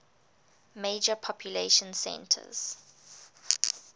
major population centers